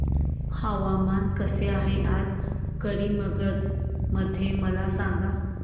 हवामान कसे आहे आज करीमगंज मध्ये मला सांगा